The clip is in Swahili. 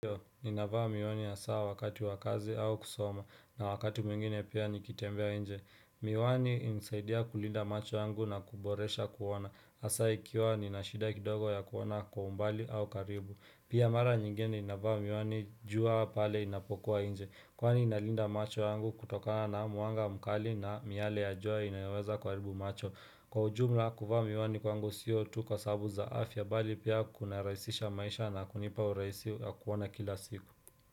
Nina vaa miwani hasaa wakati wakazi au kusoma na wakati mwingine pia nikitembea nje. Miwani hunisaidia kulinda macho yangu na kuboresha kuona. Hasaa ikiwa ninashida kidogo ya kuona kwa umbali au karibu. Pia mara nyingene ninavaa miwani jua pale inapokuwa nje. Kwani inalinda macho yangu kutokana na muanga mkali na miale ya jua inayoweza kuharibu macho. Kwa ujumla kuvaa miwani kwangu sio tu kwa sababu za afya bali pia kuna rahisisha maisha na kunipa uraisi ya kuona kila siku.